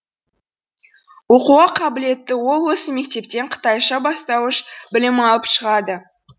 оқуға қабілетті ол осы мектептен қытайша бастауыш білім алып шығады